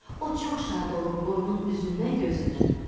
O çox şad olub qoyunun üzündən-gözündən öpdü.